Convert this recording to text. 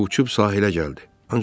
Hətta uçub sahilə gəldi.